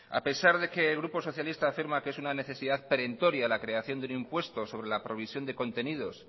a pesar de que el grupo socialista afirma que es una necesidad preventoria la creación del impuesto sobre la producción de contenidos